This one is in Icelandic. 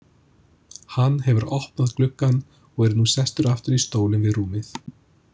Hann hefur opnað gluggann og er nú sestur aftur í stólinn við rúmið.